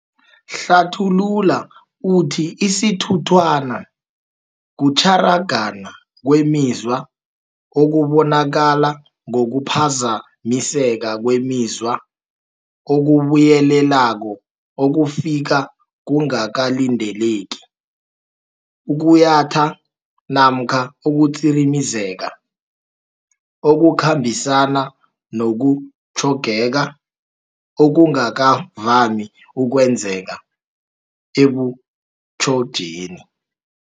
Uhlathulula uthi isithunthwana kutjharagana kwemizwa okubonakala ngokuphazamiseka kwemizwa okubuyelelako okufika kungakalindeleki, ukuyatha namkha ukutsirimezeka, okukhambisana nokutjhogeka okungakavami okwenzeka ebuchotjeni.